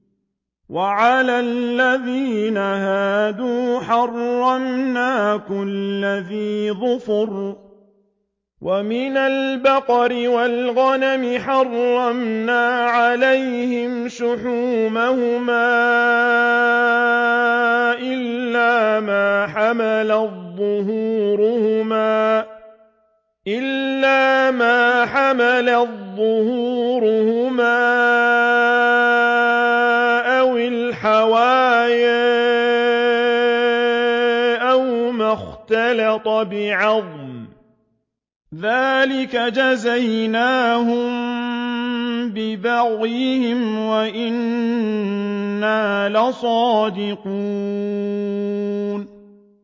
وَعَلَى الَّذِينَ هَادُوا حَرَّمْنَا كُلَّ ذِي ظُفُرٍ ۖ وَمِنَ الْبَقَرِ وَالْغَنَمِ حَرَّمْنَا عَلَيْهِمْ شُحُومَهُمَا إِلَّا مَا حَمَلَتْ ظُهُورُهُمَا أَوِ الْحَوَايَا أَوْ مَا اخْتَلَطَ بِعَظْمٍ ۚ ذَٰلِكَ جَزَيْنَاهُم بِبَغْيِهِمْ ۖ وَإِنَّا لَصَادِقُونَ